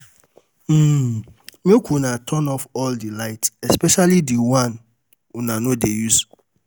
Make una turn off all the lights especially the one una no dey use